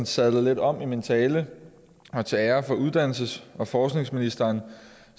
sadle lidt om i min tale og til ære for uddannelses og forskningsministeren